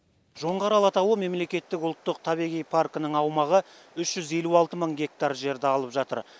жоңғар алатауы мемлекеттік ұлттық табиғи паркінің аумағы үш жүз елу алты мың гектар жерді алып жатыр